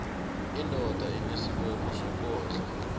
indoda inesibopho sokondla